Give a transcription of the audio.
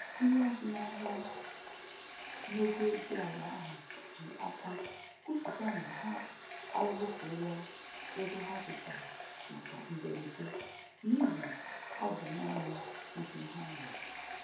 Onye azụmahịa n'ogo dị ala ahụ ji akwa kwuputa na ha azụfuola ego ha dosara maka mberede n'ihi ọ bụ naanị ihe ha nwe